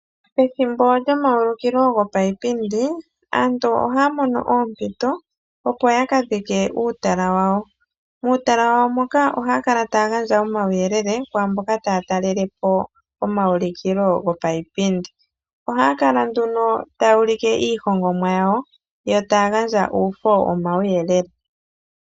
Pethimbo lyomaulikilo gopayipindi, aantu ohaya mono oompito opo ya ka dhike uutala wawo. Muutala wawo moka ohaya kala taya gandja omauyelele ku mboka taya talelepo omaulikilo go payipindi. Ohaya kala nduno taya ulike iihongomwa yawo, yo taya gandja uufo womauyelele.